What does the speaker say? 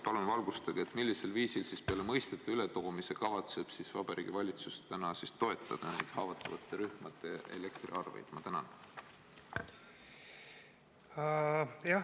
Palun valgustage, millisel viisil peale mõistete ületoomise kavatseb Vabariigi Valitsus toetada haavatavaid rühmi elektriarvete?